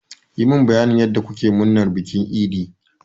Yi mun bayanin yanda kuke murnar bikin idi!